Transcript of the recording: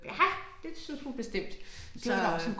Ja det syntes hun bestemt så øh